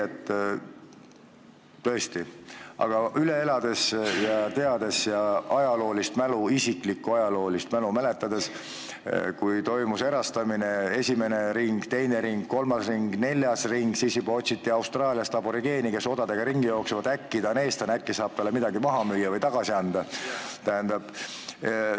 Aga ma olen üle elanud teatud aegu ja oman ajaloolist mälu, mäletan, kuidas toimus erastamine – esimene ring, teine ring, kolmas ring, neljas ring – ja kuidas otsiti Austraaliast odaga ringi jooksvat aborigeeni, et äkki ta on eestlane, äkki saab talle midagi maha müüa või tagasi anda.